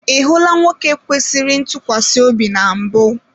I hụla nwoke kwesịrị ntụkwasị obi na mbụ?